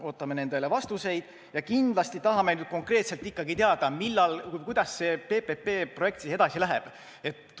Ootame nendele vastuseid ja kindlasti tahame nüüd konkreetselt ikkagi teada, millal või kuidas see PPP-projekt siis edasi läheb.